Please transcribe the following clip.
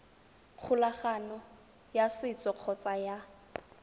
kgolagano ya setso kgotsa ya